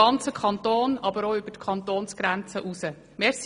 Davon konnte ich mich einige Male auch selber überzeugen.